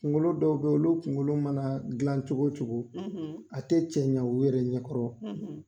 Kunkolo dɔw be yen, olu kunkolo mana gilan cogo o cogo a tɛ cɛ ɲa u yɛrɛ ɲɛkɔrɔ